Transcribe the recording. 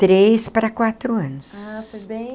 Três para quatro anos. Ah, foi bem...